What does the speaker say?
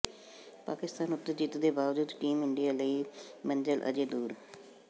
ਪਾਕਿਸਤਾਨ ਉੱਤੇ ਜਿੱਤ ਦੇ ਬਾਵਜੂਦ ਟੀਮ ਇੰਡੀਆ ਲਈ ਮੰਜ਼ਲ ਅਜੇ ਦੂਰ